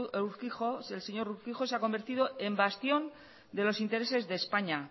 el señor urquijo en bastión de los intereses de españa